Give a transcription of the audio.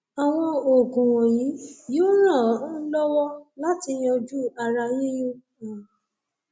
àwọn oògùn wọnyí yóò ràn án um lọwọ láti yanjú ara yíyún um